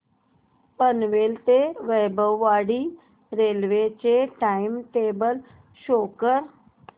पनवेल ते वैभववाडी रेल्वे चे time table show करा